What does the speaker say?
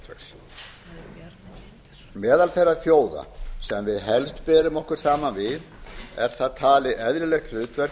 sjávarútvegs meðal þeirra þjóða sem við helst berum okkur saman við er það talið eðlilegt hlutfall